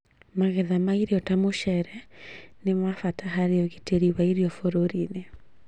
Magetha ma irio ta mũcere nĩ ma bata harĩ ũgitĩri wa irio bũrũri-inĩ